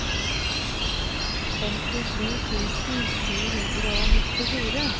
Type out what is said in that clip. femtisju tusen sju hundre og nittifire